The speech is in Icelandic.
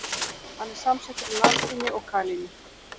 Hann er samsettur úr natríni og kalíni.